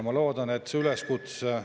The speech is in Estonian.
Ma loodan, et see üleskutse …